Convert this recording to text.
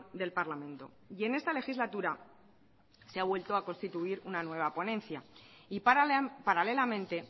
del parlamento y en esta legislatura se ha vuelto a constituir una nueva ponencia y paralelamente